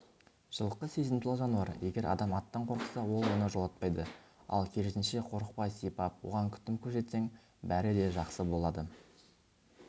жылқы сезімтал жануар егер адам аттан қорықса ол оны жолатпайды ал керісінше қорықпай сипап оған күтім көрсетсең бәрі де жақсы болады